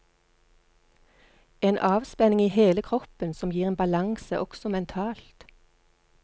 En avspenning i hele kroppen som gir en balanse også mentalt.